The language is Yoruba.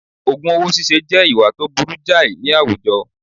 Ògùn owó síse jẹ́ ìwà tó burú jàì ní àwùjọ